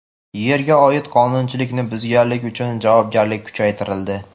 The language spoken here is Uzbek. Yerga oid qonunchilikni buzganlik uchun javobgarlik kuchaytirildi.